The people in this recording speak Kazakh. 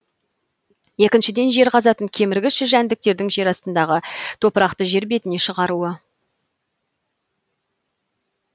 екіншіден жер қазатын кеміргіш жәндіктердің жер астындағы топырақты жер бетіне шығаруы